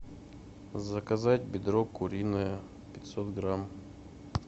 заказать бедро куриное пятьсот грамм